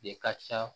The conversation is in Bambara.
De ka ca